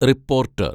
reporter‍